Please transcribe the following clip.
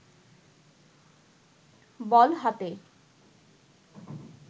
বল হাতে